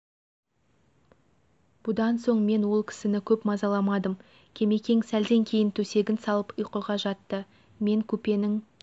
бұдан соң мен ол кісін көп мазаламадым кемекең сәлден кейін төсегін салып ұйқыға жатты мен купенің